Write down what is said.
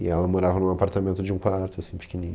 E ela morava num apartamento de um quarto, assim, pequenininho.